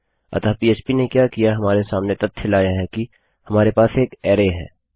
अतःPHP ने क्या किया हमारे सामने तथ्य लाया कि हमारे पास एक अरै है